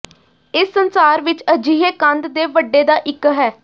ਇਸ ਸੰਸਾਰ ਵਿੱਚ ਅਜਿਹੇ ਕੰਧ ਦੇ ਵੱਡੇ ਦਾ ਇੱਕ ਹੈ